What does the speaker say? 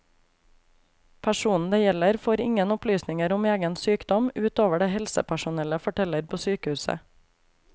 Personen det gjelder får ingen opplysninger om egen sykdom, ut over det helsepersonellet forteller på sykehuset.